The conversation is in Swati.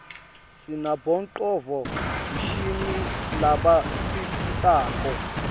sinabonqcondvo mshini labasisitako